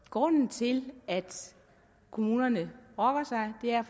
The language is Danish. grunden til at kommunerne brokker sig er